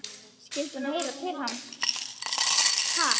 Skyldi hún heyra til hans?